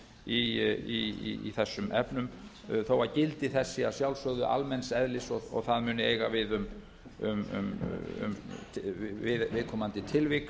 í þessum efnum þó að gildi þess sé að sjálfsögðu almenns eðlis og það muni eiga við viðkomandi tilvik